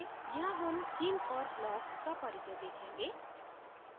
यहाँ हम themes और blocks का परिचय देखेंगे